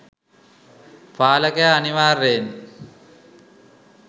පාලකයා අනිවාර්යයෙන්